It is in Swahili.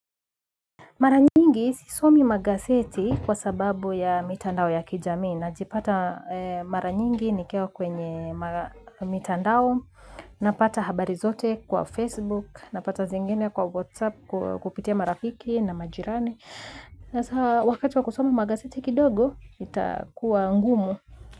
Maranyingi sisomi magazieti kwasababu ya mitandao ya kijamii najipata aa eeh maranyingi nikiwa kwenye mitandao napata habari zote kwa Facebook napata zingine kwa WhatsApp kuu kupitia marafiki na majirani. Hasaa wakati wa kusoma magazeti kidogo, itaakuwa ngumu.